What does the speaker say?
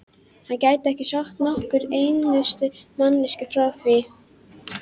hann gæti ekki sagt nokkurri einustu manneskju frá því.